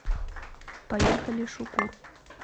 поехали шукур